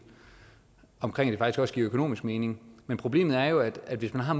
så også giver økonomisk mening men problemet er jo at hvis man har